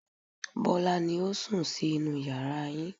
Bọ́lá ni ó sùn sí inú yàrá yín